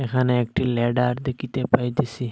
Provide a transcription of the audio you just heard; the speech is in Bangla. এখানে একটি ল্যাডার দেখিতে পাইতেসি।